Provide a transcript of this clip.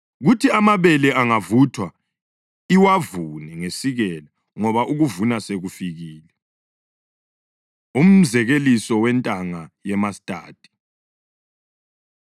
Kuthi amabele angavuthwa iwavune ngesikela ngoba ukuvuna sekufikile.” Umzekeliso Wentanga Yemastadi